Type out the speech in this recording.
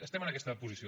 estem en aquesta posició